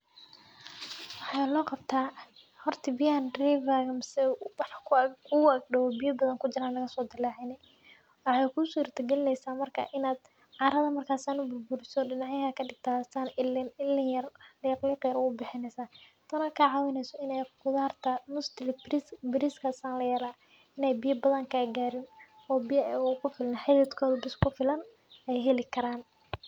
Waxaa loqabtah horta biyahan rivaga eh mise wax kuguagdow biya badhan kasodilacini , waxey kusuirtagalineysaah marka carada marka kaladadiso ilin ilin yar liqliq ubixineysaah. Tan oo kacineysaah ini qudarta mostly bariska san layelaah in ay biya badhan kagarin, oo biya xdidkoda bes kufilan ay heli karan.